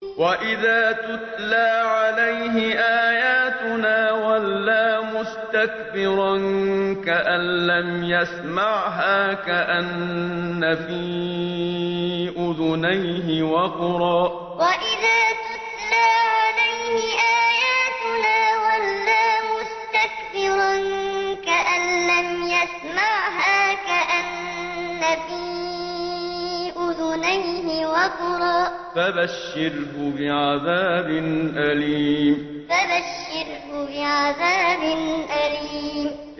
وَإِذَا تُتْلَىٰ عَلَيْهِ آيَاتُنَا وَلَّىٰ مُسْتَكْبِرًا كَأَن لَّمْ يَسْمَعْهَا كَأَنَّ فِي أُذُنَيْهِ وَقْرًا ۖ فَبَشِّرْهُ بِعَذَابٍ أَلِيمٍ وَإِذَا تُتْلَىٰ عَلَيْهِ آيَاتُنَا وَلَّىٰ مُسْتَكْبِرًا كَأَن لَّمْ يَسْمَعْهَا كَأَنَّ فِي أُذُنَيْهِ وَقْرًا ۖ فَبَشِّرْهُ بِعَذَابٍ أَلِيمٍ